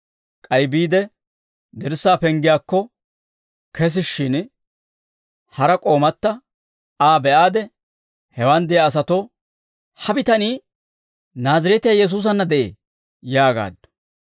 K'ay biide dirssaa penggiyaakko kesishshin, hara k'oomata Aa be'aade, hewaan de'iyaa asatoo, «Ha bitanii Naazireetiyaa Yesuusanna de'ee» yaagaaddu.